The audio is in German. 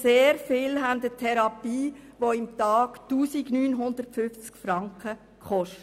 Sehr viele haben eine Therapie, die pro Tag 1950 Franken kostet.